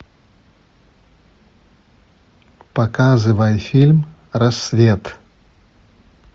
показывай фильм рассвет